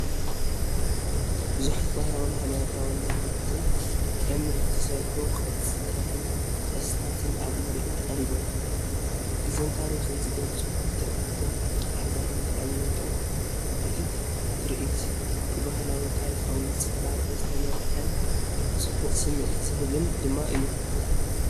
ብዙሓት ባህላውን ሃይማኖታውን ብረትን እምንን ዝተሰርሑ ቅርጻታትን ቅርስታትን ኣብ ምርኢት ቀሪቦም። ጊዜን ታሪኽን ዝገልጹ ፍጥረታትን ኣሃዛትን ተቐሚጦም። እቲ ትርኢት ብባህላውን ታሪኻውን ጽባቐ ዝተመልአን ጽቡቕ ስምዒት ዝህብን ድማ እዩ ።